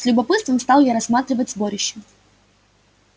с любопытством стал я рассматривать сборище